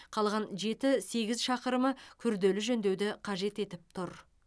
қалған жеті сегіз шақырымы күрделі жөндеуді қажет етіп тұр